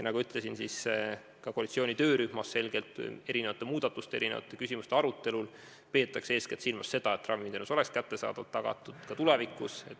Nagu ma ütlesin, peetakse koalitsiooni töörühmas erinevate muudatuste, erinevate küsimuste arutelul silmas eeskätt seda, et ravimiteenuse kättesaadavus oleks tagatud ka tulevikus.